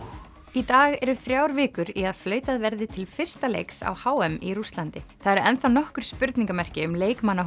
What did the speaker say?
í dag eru þrjár vikur í að flautað verði til fyrsta leiks á h m í Rússlandi það eru enn þá nokkur spurningamerki um leikmannahóp